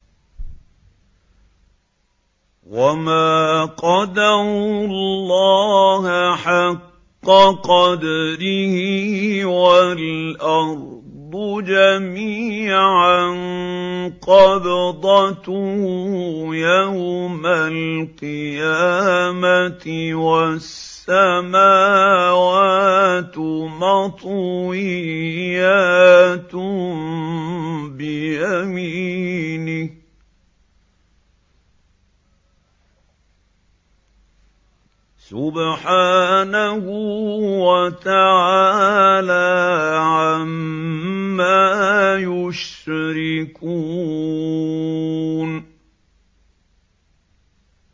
وَمَا قَدَرُوا اللَّهَ حَقَّ قَدْرِهِ وَالْأَرْضُ جَمِيعًا قَبْضَتُهُ يَوْمَ الْقِيَامَةِ وَالسَّمَاوَاتُ مَطْوِيَّاتٌ بِيَمِينِهِ ۚ سُبْحَانَهُ وَتَعَالَىٰ عَمَّا يُشْرِكُونَ